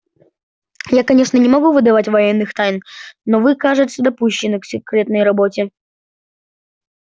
я конечно не могу выдавать военных тайн но вы кажется допущены к секретной работе